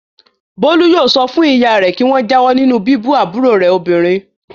Bólú yóò sọ fún ìyá rẹ̀ kí wọ́n jáwọ́ nínú bíbú àbúrò rẹ̀ obìnrin.